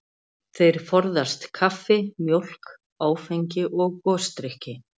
Þeir forðast kaffi, mjólk, áfengi og gosdrykki.